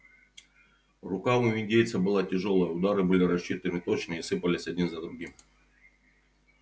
рука у индейца была тяжёлая удары были рассчитаны точно и сыпались один за другим